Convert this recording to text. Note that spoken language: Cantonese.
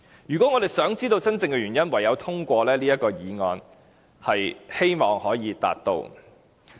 如果我們想知道真正的原因，唯有通過這項議案。